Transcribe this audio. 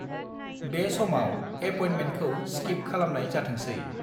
बे समाव एपयेन्टमेन्टखौ स्किप खालमनाय जाथोंसै।